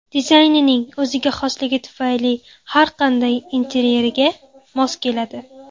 Dizaynining o‘ziga xosligi tufayli har qanday interyerga mos keladi.